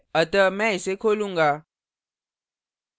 अतः मैं इसे खोलूँगा